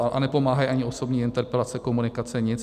A nepomáhají ani osobní interpelace, komunikace, nic.